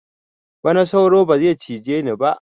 Bana sauro ba zai cije ni ba